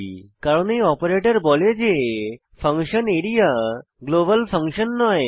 কারণ এই অপারেটর বলে যে আরিয়া গ্লোবাল ফাংশন নয়